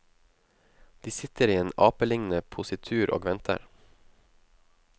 De sitter i en apelignende positur og venter.